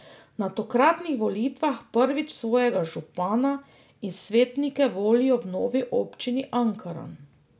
Na tokratnih volitvah prvič svojega župana in svetnike volijo v novi občini Ankaran.